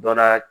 Dɔ la